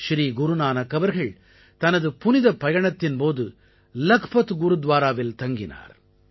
ஸ்ரீ குருநானக் அவர்கள் தனது புனிதப்பயணத்தின் போது லக்பத் குருத்வாராவில் தங்கினார்